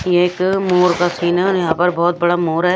ये एक मोर का सीन है और यहां पर बहोत बड़ा मोर है।